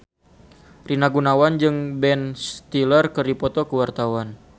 Rina Gunawan jeung Ben Stiller keur dipoto ku wartawan